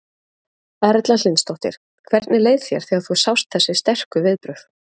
Erla Hlynsdóttir: Hvernig leið þér þegar þú sást þessi sterku viðbrögð?